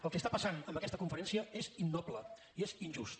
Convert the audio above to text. el que està passant amb aquesta conferència és innoble i és injust